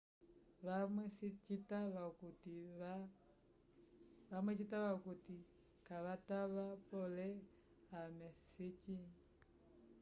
vamwe citava okuti kavatava pole ame sicĩ